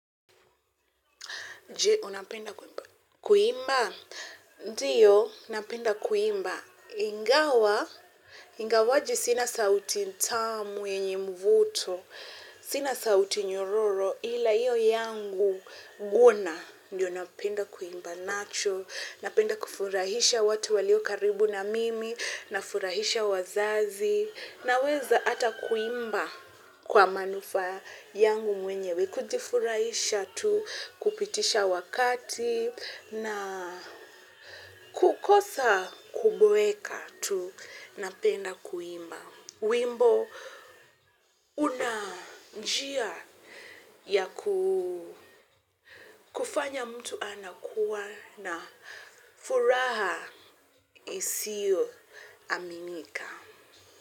Je, unapenda kuimba, kuimba, ndiyo, napenda kuimba, ingawa, ingawaji sina sauti tamu yenye mvuto, sina sauti nyororo, ila iyo yangu guna, ndiyo napenda kuimba nacho, napenda kufurahisha watu walio karibu na mimi, nafurahisha wazazi, naweza ata kuimba kwa manufaa yangu mwenyewe kujifuraisha tu, kupitisha wakati na kukosa kuboeka tu napenda kuimba. Wimbo unanjia ya kufanya mtu anakuwa na furaha isiyo aminika.